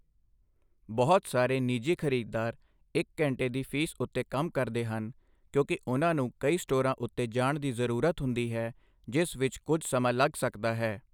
ਬਹੁਤ ਸਾਰੇ ਨਿੱਜੀ ਖਰੀਦਦਾਰ ਇੱਕ ਘੰਟੇ ਦੀ ਫੀਸ ਉੱਤੇ ਕੰਮ ਕਰਦੇ ਹਨ ਕਿਉਂਕਿ ਉਨ੍ਹਾਂ ਨੂੰ ਕਈ ਸਟੋਰਾਂ ਉੱਤੇ ਜਾਣ ਦੀ ਜ਼ਰੂਰਤ ਹੁੰਦੀ ਹੈ ਜਿਸ ਵਿੱਚ ਕੁਝ ਸਮਾਂ ਲੱਗ ਸਕਦਾ ਹੈ।